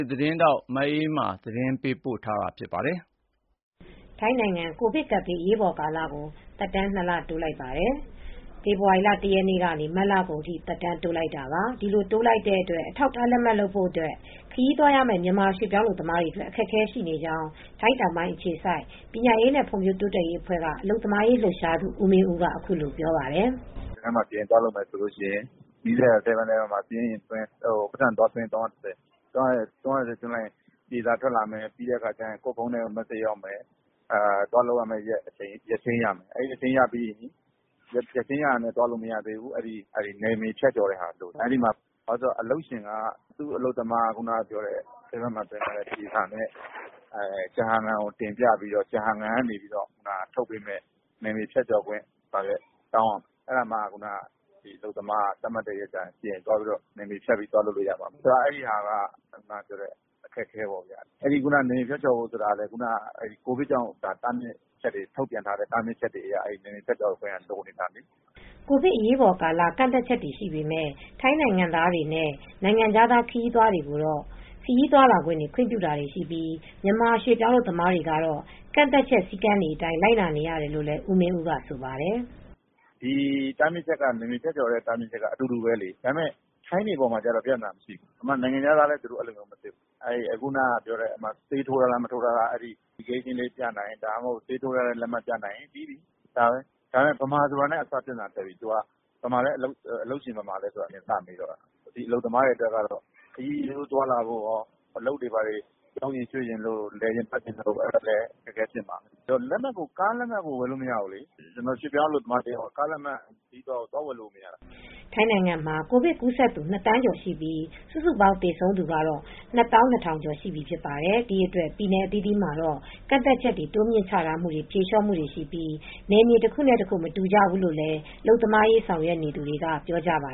သတင်းထောက် မအေးအေးမာ တင်ပြပေးထားပါတယ်။ ထိုင်းနိုင်ငံ ကိုဗစ်ကပ်ဘေး အရေးပေါ်ကာလကို သက်တမ်း ၂ လ တိုးလိုက်ပါတယ်။ ဖေဖော်ဝါရီလ ၁ ရက်နေ့ကနေ မတ်လကုန်ထိ သက်တမ်းတိုးလိုက်တာပါ။ ဒီလိုတိုးလိုက်တဲ့အတွက် အထောက်အထား လက်မှတ်လုပ်ဖို့အတွက် ခရီးသွားရမယ့် မြန်မာရွှေ့ပြောင်းအလုပ်သမားတွေအတွက် အခက်အခဲတွေ ရှိနေကြောင်း ထိုင်းတောင်ပိုင်းအခြေစိုက် ပညာရေးနဲ့ ဖွံ့ဖြိုးတိုးတက်ရေးအဖွဲ့က အလုပ်သမားရေး လှုပ်ရှားသူ ဦးမင်းဦးက အခုလိုပြောပါတယ်။ “CI သွားလုပ်မယ်ဆိုရင် နီးစပ်ရာ ဆဲဗင်းအလဲဗင်း မှာ စာရင်းသွင်း၊ ပိုက်ဆံ ၃၂၀ သွင်းရမယ်။ အဲဒီလို သွားပြီးရင် ပြေစာထွက်လာမယ်။ ကိုယ့်ဖုန်းထဲကို မက်ဆေ့ချ်ရောက်မယ်။ သွားလုပ်မယ့်ရက်ချိန်း ရမယ်။ ရက်ချိန်းရတာနဲ့ သွားလုပ်လို့ မရသေးဘူး။ နယ်မြေဖြတ်ကျော်ခွင့် လိုတယ်။ အလုပ်ရှင်က သူ့အလုပ်သမားကို ပြေစာကိုတင်ပြပြီး ကျဟန်ငန် တင်ပြပြီး ကျဟန်ငန်ကပေးတဲ့ နယ်မြေဖြတ်ကျော်ခွင့်စာရွက် တောင်းရမယ်။ အဲဒါမှ အလုပ်သမားက သတ်မှတ်ပေးထားတဲ့ရက်မှာ နယ်မြေဖြတ်ပြီး သွားလုပ်လို့ရမယ်။ အလုပ်သမားတွေအတွက် အခက်အခဲပေါ့။ နယ်မြေဖြတ်ကျော် ဆိုတာကလည်း ကိုဗစ်ကြောင့် နယ်မြေတားမြစ်ချက်တွေကတော့ လိုနေတာပဲ။” ကိုဗစ်ကာလ အရေးပေါ်ကန့်သတ်ချက်တွေ ရှိပေမယ့် ထိုင်းနိုင်ငံသားတွေနဲ့ နိုင်ငံခြားသား ခရီးသွားတွေကိုတော့ ခရီးသွားခွင့်တွေကို ခွင့်ပြုတာတွေရှိပြီး မြန်မာရွှေ့ပြောင်းအလုပ်သမားတွေကတော့ ကန့်သတ်ချက် စည်းကမ်းတွေအတိုင်း လိုက်နာနေရတယ်လို့လည်း ဦးမင်းဦးက ဆိုပါတယ်။ “တားမြစ်ချက်တွေကတော့ အတူတူပဲလေ။ ထိုင်းတွေတော့ ပြဿနာမရှိဘူး။ နိုင်ငံခြားသားတွေလည်း ပြဿနာမရှိဘူး။ ဆေးထိုးကြောင်းလက်မှတ် ပြနိုင်ဖို့ပဲ။ မြန်မာဆိုတာနဲ့တင် ပြဿနာတက်ပြီ။ အလုပ်ရှင်ဘယ်မှာလဲဆိုတာ စပြီးစစ်တယ်။ အလုပ်သမားတွေအတွက်တော့ ခရီးသွားလာဖို့ရော အလုပ်တွေ ဘာတွေ ပြောင်းရွှေ့ဖို့ရော၊ လည်ပတ်ဖို့အတွက် အခက်အခဲဖြစ်တာပဲ။ ကားလက်မှတ်တောင် ဝယ်လို့မရဘူး။ ရွှေ့ပြောင်းအလုပ်သမားတယောက်က ကားလက်မှတ်တောင် ဝယ်လို့မရဘူး။” ထိုင်းနိုင်ငံမှာ ကိုဗစ်ကူးစက်သူ ၂ သန်းကျော်ရှိပြီး စုစုပေါင်း သေဆုံးသူကတော့ ၂၂,၀၀၀ ကျော်ရှိပြီ ဖြစ်ပါတယ်။ ဒီအတွက် ပြည်နယ်အသီးသီးမှာတော့ ကန့်သတ်ချက်တွေ တိုးမြှင့်ချထားမှုတွေ၊ ဖြေလျော့မှုတွေရှိပြီး နယ်မြေတခုတခု မတူကြဘူးလို့လည်း အလုပ်သမားရေး ဆောင်ရွက်နေသူတွေက ပြောကြပါ